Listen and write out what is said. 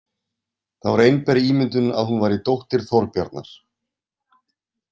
Það var einber ímyndun að hún væri dóttir Þorbjarnar.